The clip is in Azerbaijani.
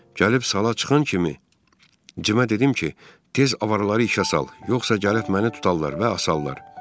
Gəlib sala çıxan kimi Cimə dedim ki, tez avaraları işə sal, yoxsa gəlib məni tutarlar və asarlar.